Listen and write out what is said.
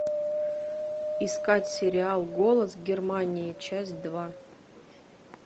искать сериал голос германии часть два